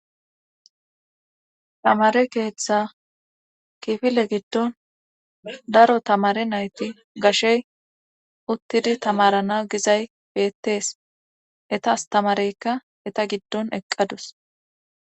tamare keeththa kifile giddon daro tamare nayti gashey uttidi tamarana gizay beettees eta astamareyka eta giddon eqqadus